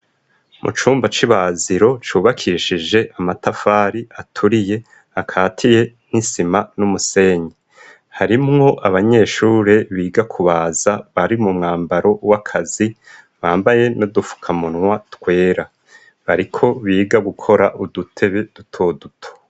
Mu cumba c'i baziro cubakishije amatafari aturiye akatiye n'isima n'umusenyi harimwo abanyeshure biga ku baza bari mu mwambaro w'akazi bambaye no dufuka munwa twera bariko biga gukora udutebe dutoduto.